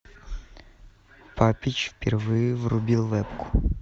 папич впервые врубил вебку